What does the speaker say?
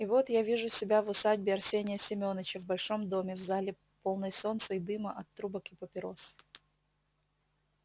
и вот я вижу себя в усадьбе арсения семёныча в большом доме в зале полной солнца и дыма от трубок и папирос